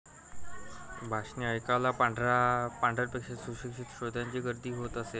भाषणे ऐकायला पांढरपेशा सुशिक्षित श्रोत्यांची गर्दी होत असे.